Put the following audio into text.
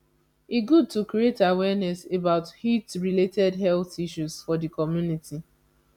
e good to create awareness about heatrelated health issues for di community